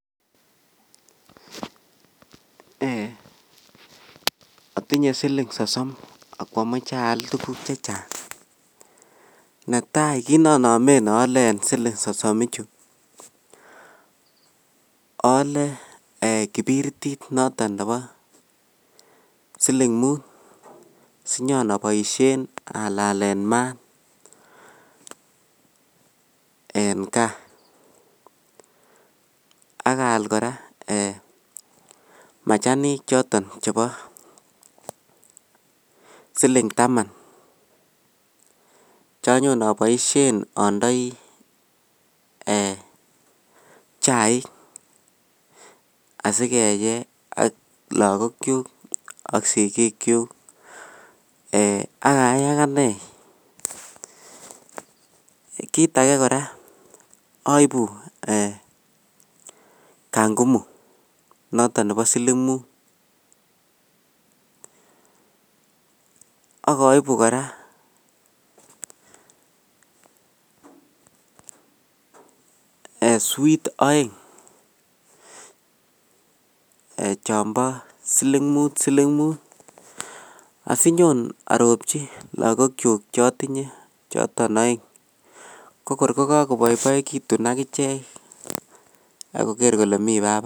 Atinye siling sosom ako amache aal tukuk chechang, netai kit nanamen aale eng siling sosom ichu ,aale kibiritit noton nebo siling Mut sinyon abaisyen alalen mat eng kaa, akaal koraa machanik choton chebo siling taman canyon anaisyen andoi chaik asikeye ako lskokyuk ak sikukyuk akae akane, kit ake koraa aibu Kangumu noton nebo siling Mut ,akaibu koraa sweet aeng chombo siling Mut siling Mut, asinyon aropchi lakokyuk chotinye choton aeng, ko kor ko kakobaibaikitn akichek akonai kole mi papa.